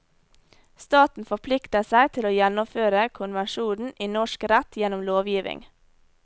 Staten forplikter seg til å gjennomføre konvensjonene i norsk rett gjennom lovgivning.